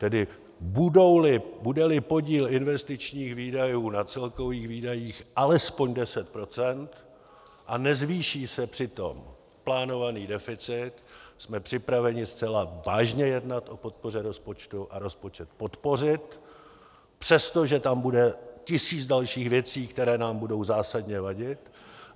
Tedy bude-li podíl investičních výdajů na celkových výdajích alespoň 10 % a nezvýší se přitom plánovaný deficit, jsme připraveni zcela vážně jednat o podpoře rozpočtu a rozpočet podpořit, přestože tam bude tisíc dalších věcí, které nám budou zásadně vadit.